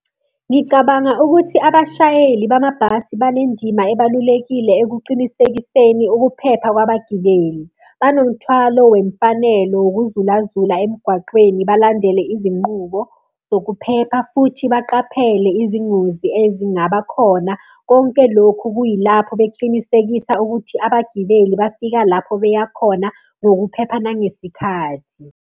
Ngicabanga ukuthi abashayeli bamabhasi banendima ebalulekile ekuqinisekiseni ukuphepha kwabagibeli. Banomthwalo wemfanelo wokuzulazula emgwaqweni balandele izinqubo zokuphepha futhi baqaphele izingozi ezingaba khona. Konke lokhu kuyilapho beqinisekisa ukuthi abagibeli bafika lapho beya khona ngokuphepha nangesikhathi.